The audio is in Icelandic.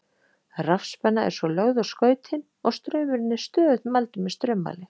Rafspenna er svo lögð á skautin og straumurinn er stöðugt mældur með straummæli.